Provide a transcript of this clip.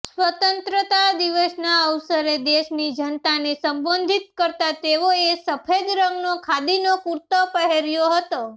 સ્વતંત્રતા દિવસના અવસરે દેશની જનતાને સંબોધિત કરતાં તેઓએ સફેદ રંગનો ખાદીનો કૂર્તો પહેર્યો હતો